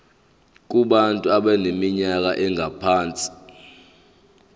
kubantu abaneminyaka engaphansi